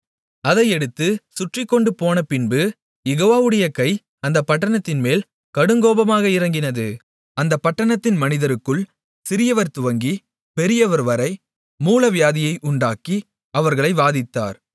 அதை எடுத்துச் சுற்றிக்கொண்டு போனபின்பு யெகோவாவுடைய கை அந்தப் பட்டணத்தின்மேல் கடுங்கோபமாக இறங்கினது அந்தப் பட்டணத்தின் மனிதருக்குள் சிறியவர் துவங்கிப் பெரியவர்வரை மூலவியாதியை உண்டாக்கி அவர்களை வாதித்தார்